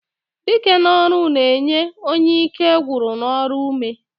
Dike ọrụ n'enye onye ike nwụrụ n'ọrụ ume.